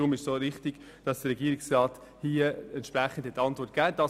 Deshalb ist es auch richtig, wie der Regierungsrat geantwortet hat.